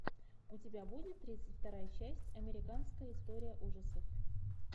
у тебя будет тридцать вторая часть американская история ужасов